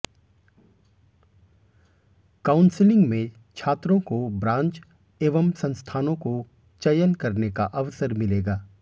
counselling में छात्रों को ब्रांच एवं संस्थानों को चयन करने का अवसर मिलेगा